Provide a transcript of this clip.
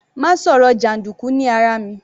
Má sọ̀rọ̀ jàndùkú ní ara mi.